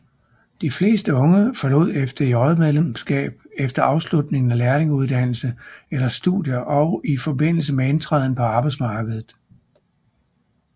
De fleste unge forlod FDJ medlemskab efter afslutningen af lærlingeuddannelse eller studier og i forbindelse med indtræden på arbejdsmarkedet